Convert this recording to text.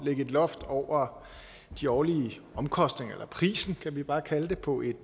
loft over de årlige omkostninger eller prisen kan vi bare kalde det på et